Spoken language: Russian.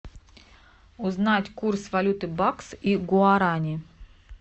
узнать курс валюты бакс и гуарани